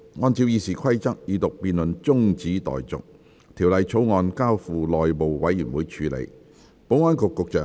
按照《議事規則》，二讀辯論中止待續，《條例草案》交付內務委員會處理。